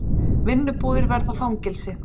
Vinnubúðir verði fangelsi